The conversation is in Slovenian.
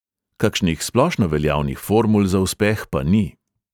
Kakšnih splošno veljavnih formul za uspeh pa ni.